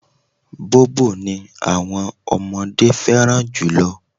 Bobo ni àwọn ọmọdé fẹ́ràn jù.